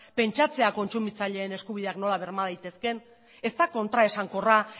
pentsatzea kontsumitzaileen eskubideak nola berma daitezkeen ez da kontraesankorra